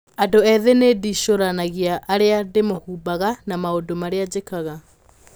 Andũ Ethĩ 'Nĩ ndĩcũranagia ũrĩa ndĩhumbaga na maũndũ marĩa njĩkaga.